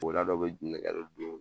Woda dɔ bɛ nɛgɛ dɔ don